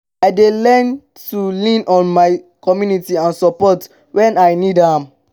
i dey learn to lean on my community for support when i need am.